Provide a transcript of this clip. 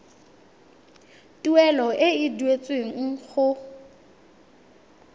tuelo e e duetsweng go